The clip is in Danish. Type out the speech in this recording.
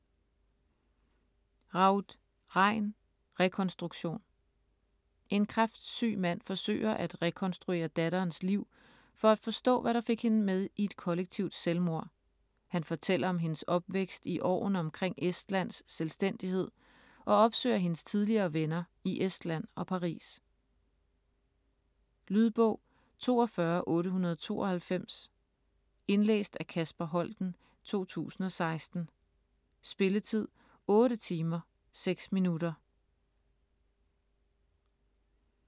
Raud, Rein: Rekonstruktion En kræftsyg mand forsøger at rekonstruere datterens liv for at forstå, hvad der fik hende med i et kollektivt selvmord. Han fortæller om hendes opvækst i årene omkring Estlands selvstændighed og opsøger hendes tidligere venner i Estland og Paris. Lydbog 42892 Indlæst af Kasper Holten, 2016. Spilletid: 8 timer, 6 minutter.